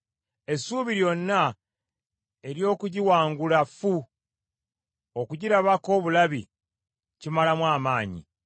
Essuubi lyonna ery’okugiwangula ffu, okugirabako obulabi kimalamu amaanyi.